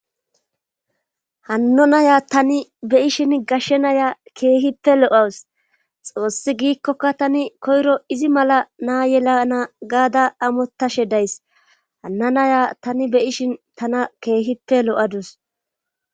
Hanno naya tani be ishin gashshe naya keehipe lo7uwus xoossi giikkoka tani koyro izi mala naa yelana gaada amottashe days hanna naya tani beyishin tana keehipe lo7adus.